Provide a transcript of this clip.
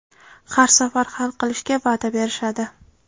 Har safar hal qilishga va’da berishadi.